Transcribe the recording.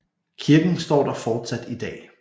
Kirken står der fortsat i dag